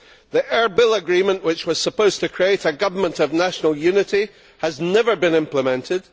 The Erbil Agreement, which was supposed to create a government of national unity, has never been implemented.